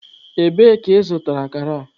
Ebee ka ị zụtara akara?